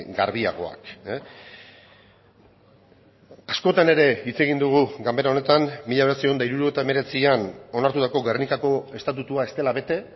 garbiagoak askotan ere hitz egin dugu ganbara honetan mila bederatziehun eta hirurogeita hemeretzian onartutako gernikako estatutua ez dela bete